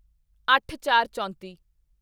ਅੱਠਚਾਰਚੌਂਤੀ